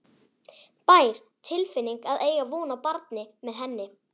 bær tilfinning að eiga von á barni með henni.